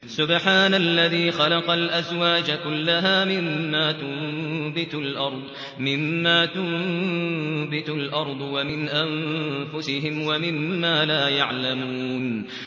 سُبْحَانَ الَّذِي خَلَقَ الْأَزْوَاجَ كُلَّهَا مِمَّا تُنبِتُ الْأَرْضُ وَمِنْ أَنفُسِهِمْ وَمِمَّا لَا يَعْلَمُونَ